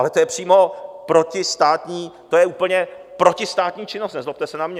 Ale to je přímo protistátní, to je úplně protistátní činnost, nezlobte se na mě.